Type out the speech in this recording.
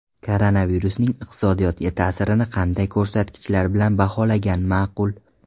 Koronavirusning iqtisodiyotga ta’sirini qanday ko‘rsatkichlar bilan baholagan ma’qul?.